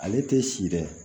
Ale tɛ si dɛ